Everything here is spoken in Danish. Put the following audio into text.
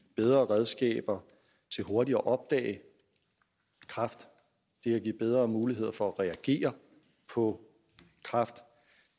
bedre redskaber til hurtigere at opdage kræft det at give bedre muligheder for at reagere på kræft